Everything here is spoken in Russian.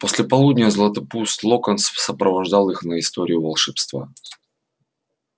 после полудня златопуст локонс сопровождал их на историю волшебства